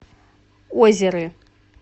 озеры